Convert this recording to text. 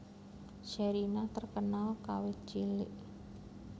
Sherina terkenal kawit cilik